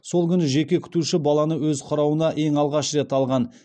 сол күні жеке күтуші баланы өз қарауына ең алғаш рет алған